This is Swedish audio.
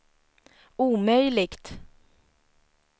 omöjligt